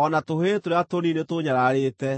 O na tũhĩĩ tũrĩa tũnini nĩtũũnyararĩte,